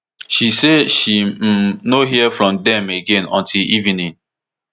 she say she um no hear from dem again until evening